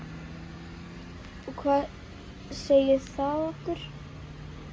Og hvað segir það okkur?